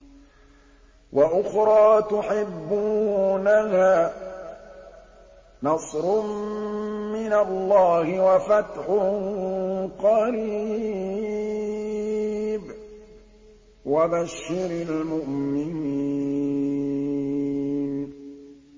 وَأُخْرَىٰ تُحِبُّونَهَا ۖ نَصْرٌ مِّنَ اللَّهِ وَفَتْحٌ قَرِيبٌ ۗ وَبَشِّرِ الْمُؤْمِنِينَ